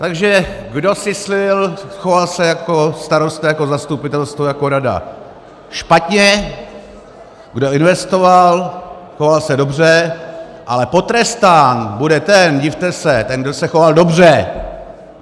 Takže kdo syslil, choval se jako starosta, jako zastupitelstvo, jako rada špatně, kdo investoval, choval se dobře, ale potrestán bude ten, divte se, ten, kdo se choval dobře.